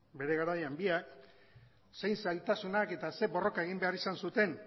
bere garaian biak zer zailtasuna eta zer borroka egin behar izan zuten